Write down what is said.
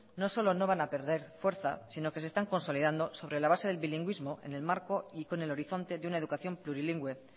no solo no van a perder fuerza sino que se están consolidando sobre la base del bilingüismo en el marco y con el horizonte de una educación plurilingüe